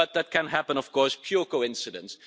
That can happen of course pure coincidence.